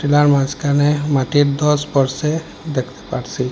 Tiller মাঝখানে মাটির ধস পড়সে দেখতে পারসি।